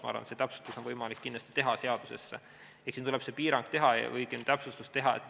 Ma arvan, et see täpsustus on võimalik kindlasti seadusesse teha ja siin tuleb see täpsustus teha.